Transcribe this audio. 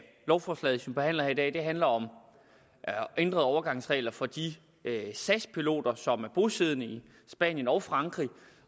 lovforslaget som vi behandler her i dag handler om ændrede overgangsregler for de sas piloter som er bosiddende i spanien og frankrig